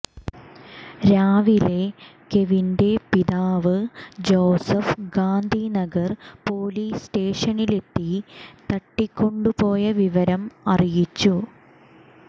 രാവിലെ കെവിന്റെ പിതാവ് ജോസഫ് ഗാന്ധിനഗർ പൊലീസ് സ്റ്റേഷനിലെത്തി തട്ടിക്കൊണ്ടു പോയ വിവരം അറിയിച്ചു